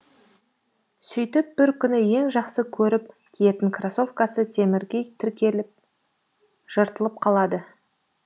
сөйтіп бір күні ең жақсы көріп киетін кроссовкасы темірге тіркеліп жыртылып қалады